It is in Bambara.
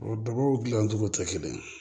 O dɔgɔ bi naani duuru tɛ kelen ye